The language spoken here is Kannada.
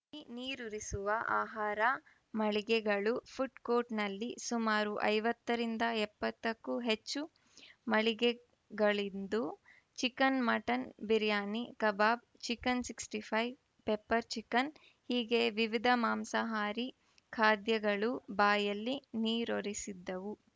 ನೀರೂರಿಸುವ ಆಹಾರ ಮಳಿಗೆಗಳು ಫುಡ್‌ ಕೋರ್ಟ್‌ನಲ್ಲಿ ಸುಮಾರು ಐವತ್ತರಿಂದ ಎಪ್ಪತ್ತಕ್ಕೂ ಹೆಚ್ಚು ಮಳಿಗೆಗಳಿದ್ದು chicken mutton biryani kebab chicken sixty five pepper chicken ಹೀಗೆ ವಿವಿಧ ಮಾಂಸಹಾರಿ ಖಾದ್ಯಗಳು ಬಾಯಲ್ಲಿ ನೀರೂರಿಸಿದ್ದವು